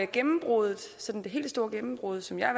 gennembruddet sådan det helt store gennembrud som jeg